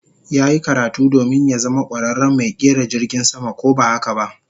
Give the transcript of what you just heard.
Yayi karatu domin ya zama kwararen mai kera jirgin sama ko ba haka ba?